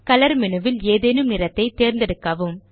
colour menu ல் ஏதேனும் நிறத்தை தேர்ந்தெடுக்கவும்